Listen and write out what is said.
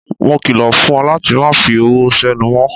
Mo kilo fún ọ láti má fi ọwọ senu mó.